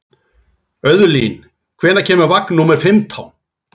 Auðlín, hvenær kemur vagn númer fimmtán?